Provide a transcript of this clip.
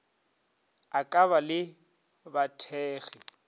a ka ba le bathekgi